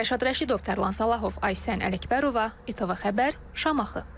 Rəşad Rəşidov, Tərlan Salahov, Aysən Ələkbərova, ITV xəbər, Şamaxı.